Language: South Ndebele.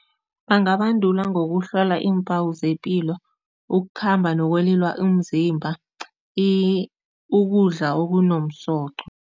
Bangabandulwa ngokuhlola iimpawu zepilo, ukukhamba nokwelula umzimba, ukudla okunomsoqo.